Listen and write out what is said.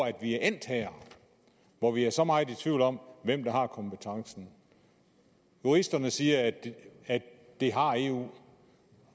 at vi er endt her hvor vi er så meget i tvivl om hvem der har kompetencen juristerne siger at det har eu